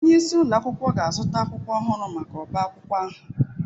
Onye isi ụlọ akwụkwọ ga-azụta akwụkwọ ọhụrụ maka ọbá akwụkwọ ahụ